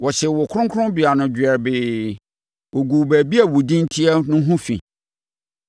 Wɔhyee wo kronkronbea no dwerɛbee; wɔguu baabi a wo Din teɛ no ho fi.